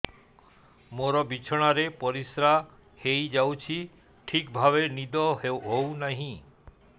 ମୋର ବିଛଣାରେ ପରିସ୍ରା ହେଇଯାଉଛି ଠିକ ଭାବେ ନିଦ ହଉ ନାହିଁ